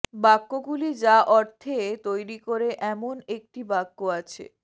বাক্যগুলি যা অর্থে তৈরি করে এমন একটি বাক্য আছে